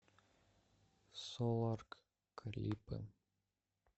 соларк клипы